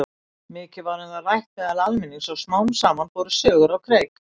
Mikið var um það rætt meðal almennings og smám saman fóru sögur á kreik.